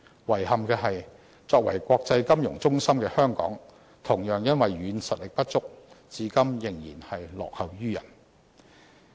遺憾的是，作為國際金融中心的香港，同樣因為"軟實力"不足，至今仍然落後於人。